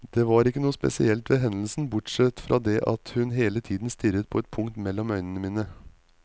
Det var ikke noe spesielt ved hendelsen, bortsett fra det at hun hele tiden stirret på et punkt mellom øynene mine.